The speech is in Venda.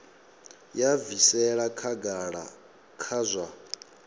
ya bvisela khagala kha zwa